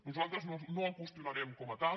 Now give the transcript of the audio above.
nosaltres no el qüestionarem com a tal